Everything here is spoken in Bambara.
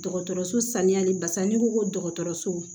Dɔgɔtɔrɔso saniyali basa n'i ko ko dɔgɔtɔrɔso